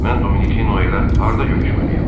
Mən Dominikinə hara görüşməliyəm?